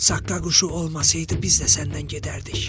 Saqqa quşu olmasaydı, biz də səndən gedərdik.